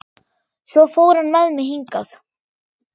Svo fór hann með mig hingað.